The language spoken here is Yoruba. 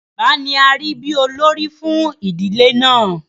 Bàbá ni arí bí olórí fún ìdílé náà.